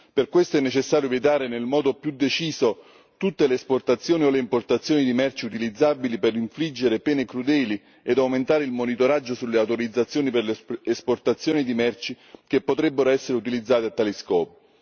Per questo è necessario vietare nel modo più deciso tutte le esportazioni o le importazioni di merci utilizzabili per infliggere pene crudeli e aumentare il monitoraggio sulle autorizzazioni per l'esportazione di merci che potrebbero essere utilizzate a tale scopo.